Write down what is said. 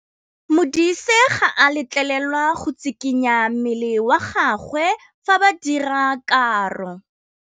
Modise ga a letlelelwa go tshikinya mmele wa gagwe fa ba dira karô.